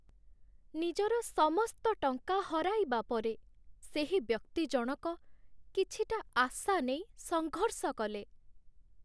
ନିଜର ସମସ୍ତ ଟଙ୍କା ହରାଇବା ପରେ, ସେହି ବ୍ୟକ୍ତି ଜଣକ କିଛିଟା ଆଶା ନେଇ ସଂଘର୍ଷ କଲେ।